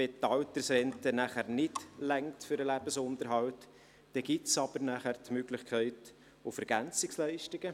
Das heisst also, wenn die Altersrente nachher nicht für den Lebensunterhalt ausreicht, gibt es die Möglichkeit der EL.